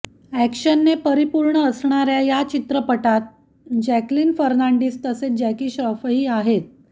अॅक्शनने परिपूर्ण असणाऱ्या या चित्रपटात जॅकलिन फर्नांडिस तसेच जॅकी श्रॉफही आहे